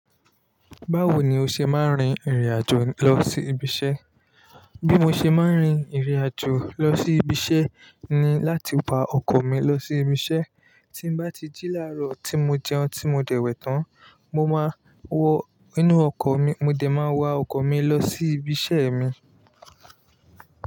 Báwo ni o ṣe máa ń rin ìrìn àjò lọ sí ibi iṣẹ́? Bí mo ṣe máa ń rin ìrìn àjò lọ sí ibi iṣẹ́ ni láti wa ọkọ̀ mi lọ sí ibi iṣẹ́. Tí bá ti jí láàárọ̀ tí mo jẹun, tí mo dẹ̀wẹ̀ tán, mo máa wọ inú ọkọ̀ mi. Mo dẹ̀ máa wa ọkọ̀ mi lọ sí ibi iṣẹ́ mi.